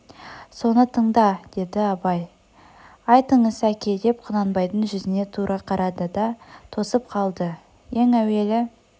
соны тыңда деді абай айтыңыз әке деп құнанбайдың жүзіне тура қарады да тосып қалды ең әуелі